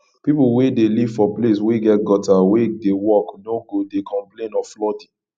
pipo wey dey live for place wey get gutter wey dey work no go de complain of flooding